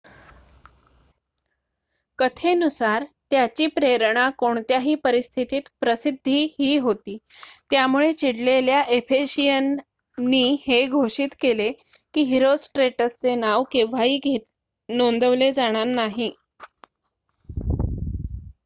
कथेनुसार त्याची प्रेरणा कोणत्याही परिस्थितीत प्रसिद्धी ही होती त्यामुळे चिडलेल्या एफेशियन नि हे घोषित केले की हिरोस्ट्रेटस चे नाव केव्हाही नोंदवले जाणार नाही